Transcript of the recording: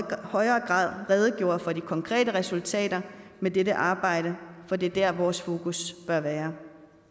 højere grad redegjorde for de konkrete resultater med dette arbejde for det er dér vores fokus bør være